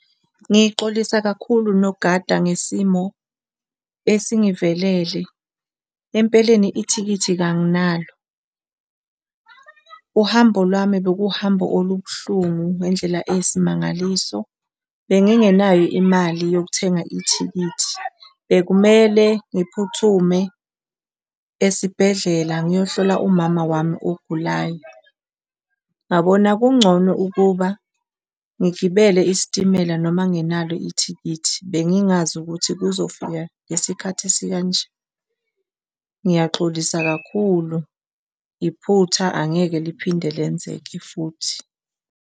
Ngixolisa kakhulu nogada ngesimo esingivelele. Empeleni ithikithi kanginalo, uhambo lwami bekuhambo olubuhlungu ngendlela eyisimangaliso. Bengingenayo imali yokuthenga ithikithi. Bekumele ngiphuthume esibhedlela ngiyohlola umama wami ogulayo, ngabona kungcono ukuba ngigibele isitimela noma ngingenalo ithikithi. Bengingazi ukuthi kuzofika ngesikhathi esikanje. Ngiyaxolisa kakhulu, iphutha angeke liphinde lenzeke futhi.